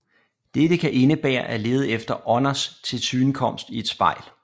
Dette kan indebære at lede efter ånders tilsynekomst i et spejl